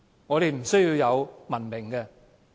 我們不需要文明嗎？